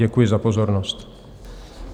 Děkuji za pozornost.